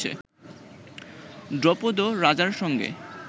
দ্রুপদ রাজার সঙ্গে